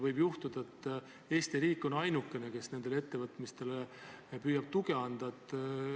Võib juhtuda, et Eesti riik on ainukene, kes nendele ettevõtmistele püüab tuge anda.